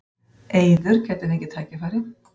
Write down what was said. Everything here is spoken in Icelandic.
Eiður gæti fengið tækifæri